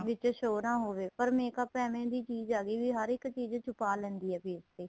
ਵਿੱਚ show ਨਾ ਹੋਵੇ ਪਰ makeup ਐਵੇ ਦੀ ਚੀਜ਼ ਹੈਗੀ ਹਰ ਇੱਕ ਚੀਜ ਛੁਪਾਹ ਲੈਂਦੀ ਏ face ਤੇ